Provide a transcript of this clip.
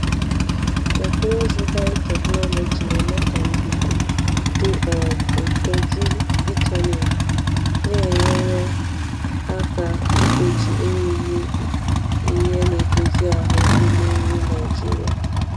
Teknụzụ biotechnology na-eme ka nduku dị um ụtọ juo vitamin, na-enyere aka igbochi erighị ihe erighị ihe na-edozi ahụ n’ime nri Naijiria. um